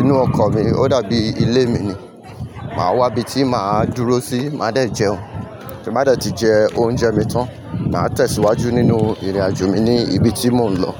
inú ọkọ̀ mi ó dàbí ilé mi ni. Màá wá ibi tí màá dúró sí, má dẹ̀ jẹun. Tín bá dẹ̀ tí jẹ oúnjẹ mi tán, màá tẹ̀síwájú nínú ìrìnàjò mi ní ibi tí mò ń lọ.